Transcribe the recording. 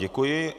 Děkuji.